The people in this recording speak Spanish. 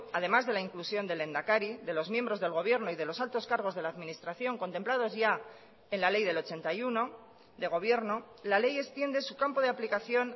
además de la inclusión del lehendakari de los miembros del gobierno y de los altos cargos de la administración contemplados ya en la ley del ochenta y uno de gobierno la ley extiende su campo de aplicación